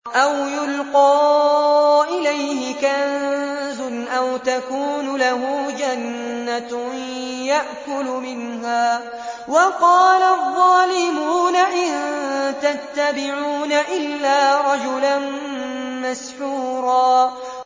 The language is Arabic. أَوْ يُلْقَىٰ إِلَيْهِ كَنزٌ أَوْ تَكُونُ لَهُ جَنَّةٌ يَأْكُلُ مِنْهَا ۚ وَقَالَ الظَّالِمُونَ إِن تَتَّبِعُونَ إِلَّا رَجُلًا مَّسْحُورًا